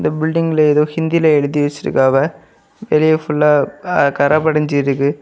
Building எதோ ஹிந்தில எழுதி வச்சிருக்காங்வ வெளியே ஃபுல்லா அ கற படிஞ்சு இருக்கு.